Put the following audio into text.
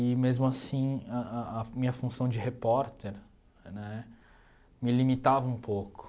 E mesmo assim, a a a minha função de repórter né me limitava um pouco.